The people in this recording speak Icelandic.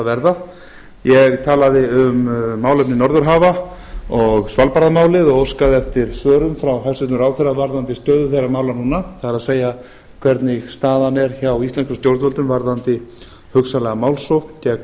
verða ég talaði um málefni norðurhafa og svalbarðamálið og óskað eftir svörum frá hæstvirtum ráðherra varðandi stöðu þeirra mála núna það er hvernig staðan er hjá íslenskum stjórnvöldum varðandi hugsanlega málsókn gegn